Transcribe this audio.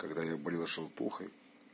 когда я болел желтухой